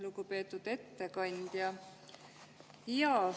Lugupeetud ettekandja!